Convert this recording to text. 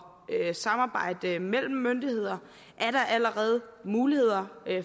samarbejdet mellem myndigheder er der allerede mulighed